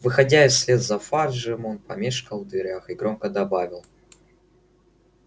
выходя вслед за фаджем он помешкал в дверях и громко добавил